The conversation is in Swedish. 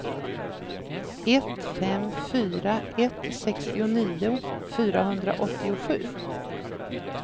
ett fem fyra ett sextionio fyrahundraåttiosju